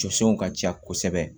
Jɔsenw ka ca kosɛbɛ